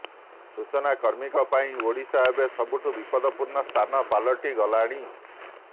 ସୂଚନା କର୍ମୀଙ୍କ ପାଇଁ ଓଡ଼ିଶା ଏବେ ସବୁଠୁ ବିପଦପୂର୍ଣ୍ଣ ସ୍ଥାନ ପାଲଟିଗଲାଣି